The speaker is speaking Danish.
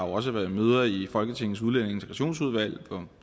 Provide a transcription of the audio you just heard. også været møder i folketingets udlændinge og integrationsudvalg hvor